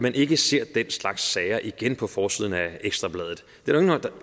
man ikke ser den slags sager igen på forsiden af ekstra bladet der er jo